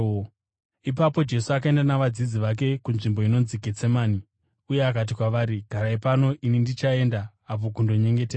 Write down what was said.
Ipapo Jesu akaenda navadzidzi vake kunzvimbo inonzi Getsemani, uye akati kwavari, “Garai pano ini ndichienda apo kundonyengetera.”